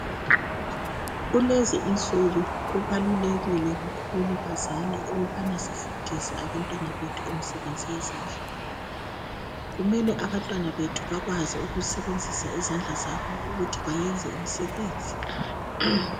Kulezinsuku kubalulekile kakhulu bazali ukubana sifundise abantwana bethu imisebenzi yezandla. Kumele abantwana bethu bakwazi ukusebenzisa izandla zabo ukuthi bayenze imisebenzi.